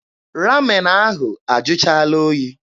Ramen ahụ ajụchaala oyi.